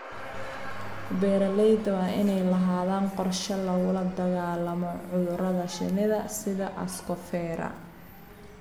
Beeralayda waa inay lahaadaan qorshe lagula dagaallamo cudurrada shinnida sida Ascosphaera.